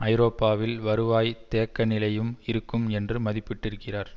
ஐரோப்பாவில் வருவாய் தேக்க நிலையும் இருக்கும் என்று மதிப்பிட்டிருக்கிறார்